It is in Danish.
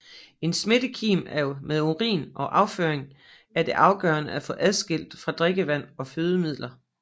En smittekim med urin og afføring er det afgørende at få adskilt fra drikkevand og fødemidler